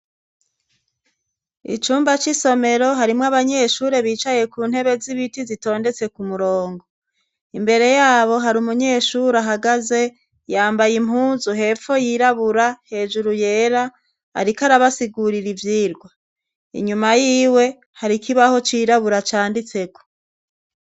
Icumba c'isomero harimwo abanyeshure bicaye ku ntebe z'ibiti zitondetse ku murongo imbere yabo hari umunyeshuri ahagaze yambaye impunzu hepfo yirabura hejuru yera, ariko arabasigurira ivyirwa inyuma yiwe hari ikibaho cirabura canditseko.